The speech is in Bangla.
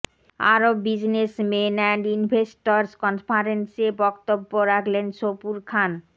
আরব বিজনেসমেন অ্যান্ড ইনভেস্টর্স কনফারেন্সে বক্তব্য রাখলেন সবুর খান